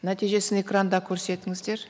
нәтижесін экранда көрсетіңіздер